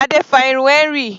Adé fa irun Henry.